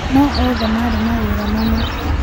No othe marĩ na mawĩra mamwe